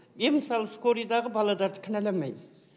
мен мысалы скорыйдағы балаларды кіналамаймын